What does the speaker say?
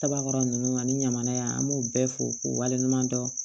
Kaba kɔrɔ ninnu ani ɲamana yan an b'u bɛɛ fo k'u waleɲuman dɔn